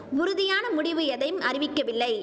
உறுதியான முடிவு எதையும் அறிவிக்கவில்லை